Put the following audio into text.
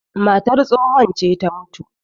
matar tsohon ce ta mutu